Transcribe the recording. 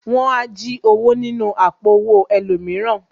Wọn á jí owó nínú àpò owó ẹlòmíràn